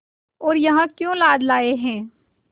और यहाँ क्यों लाद लाए हैं